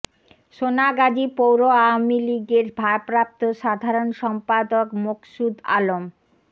সোনাগাজী পৌর আওয়ামী লীগের ভারপ্রাপ্ত সাধারণ সম্পাদক মোকসুদ আলম